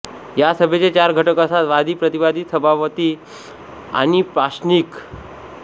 या सभेचे चार घटक असतात वादी प्रतिवादी सभापति आणि प्राश्निक